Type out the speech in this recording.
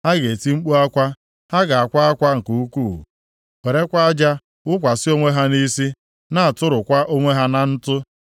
Ha ga-eti mkpu akwa, ha ga-akwa akwa nke ukwuu, werekwa aja wụkwasị onwe ha nʼisi, na-atụrụkwa onwe ha na ntụ.